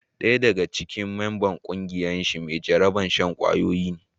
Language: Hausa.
Daya daga cikin memba na kungiyar shi mai jarabar shan kwayoyi ne.